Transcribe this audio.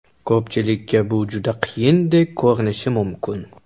Ko‘pchilikka bu juda qiyindek ko‘rinishi mumkin.